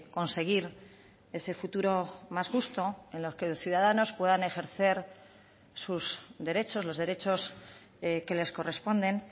conseguir ese futuro más justo en los que los ciudadanos puedan ejercer sus derechos los derechos que les corresponden